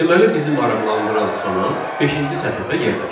Deməli bizim maraqlandıran xana beşinci sətirdə yerləşir.